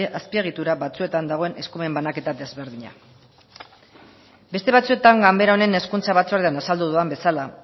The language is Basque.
azpiegitura batzuetan dagoen eskumen banaketa desberdina beste batzuetan ganbara honen hezkuntza batzordean azaldu dudan bezala